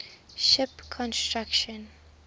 ship construction